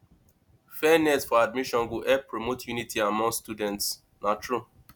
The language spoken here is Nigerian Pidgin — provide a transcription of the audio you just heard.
fairness for admissions go help promote unity among students na true